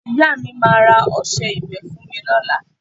Ìyá mi máa ra ọsẹ ìwẹ́ fún mi lọ́la